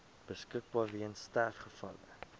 beskikbaar weens sterfgevalle